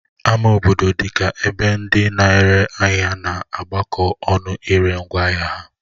Ama obodo dị ka ebe ndị na-ere ahịa na-agbakọ ọnụ ire ngwaahịa ha